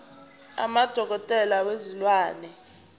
uma udokotela wezilwane